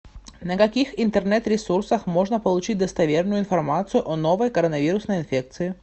на каких интернет ресурсах можно получить достоверную информацию о новой коронавирусной инфекции